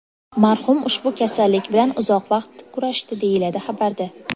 Marhum ushbu kasallik bilan uzoq vaqt kurashdi”, deyiladi xabarda.